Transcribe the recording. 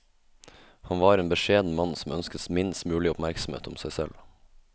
Han var en beskjeden mann som ønsket minst mulig oppmerksomhet om seg selv.